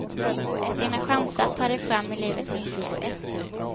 Dina chanser att ta dig fram i livet minskar.